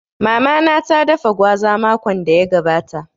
Mama na ta dafa gwaza makon da ya gabata